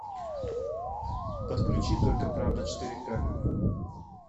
подключи только правда четыре ка